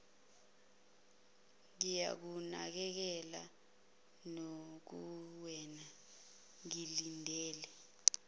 ngiyakunakekela nakuwena ngilindele